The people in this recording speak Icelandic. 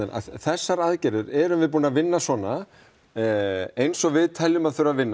þessar aðgerðir erum við búin að vinna svona eins og við teljum að þurfi að vinna